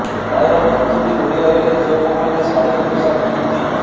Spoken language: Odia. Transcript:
ପ୍ରାୟ ପ୍ରତିଟି ଓଡ଼ିଆ ଘରେ ଝିଅ ବୋହୂମାନେ ଶାଢ଼ି ଓ ପୋଷାକ କିଣନ୍ତି